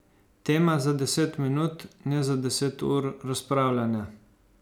Tema za deset minut, ne za deset ur razpravljanja.